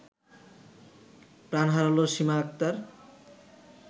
প্রাণ হারালো সীমা আক্তার